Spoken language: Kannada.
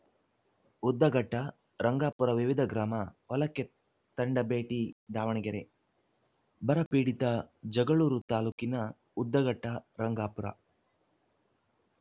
ಉದ್ದಘಟ್ಟ ರಂಗಾಪುರ ವಿವಿಧ ಗ್ರಾಮ ಹೊಲಕ್ಕೆ ತಂಡ ಭೇಟಿ ದಾವಣಗೆರೆ ಬರ ಪೀಡಿತ ಜಗಳೂರು ತಾಲೂಕಿನ ಉದ್ದಘಟ್ಟ ರಂಗಾಪುರ